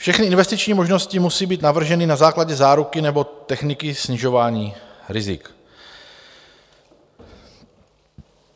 Všechny investiční možnosti musí být navrženy na základě záruky nebo techniky snižování rizik.